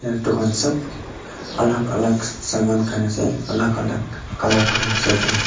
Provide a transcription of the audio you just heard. Etu khan sobh alak alak saman khan ase alak alak colour khan ase etu khan--